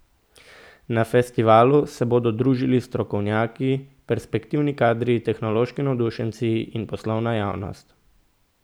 Na festivalu se bodo družili strokovnjaki, perspektivni kadri, tehnološki navdušenci in poslovna javnost.